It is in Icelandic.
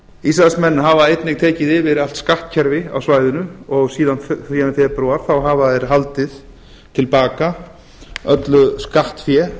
ísraelsmenn hafa einnig tekið yfir allt skattkerfi á svæðinu og síðan í febrúar hafa þeir haldið til baka öllu skattfé